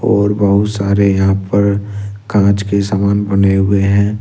और बहुत सारे यहां पर कांच के समान बने हुए हैं।